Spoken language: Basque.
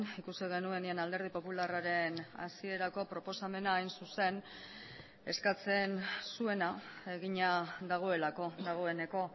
ikusi genuenean alderdi popularraren hasierako proposamena hain zuzen eskatzen zuena egina dagoelako dagoeneko